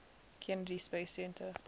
kennedy space center